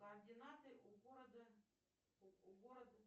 координаты у города у города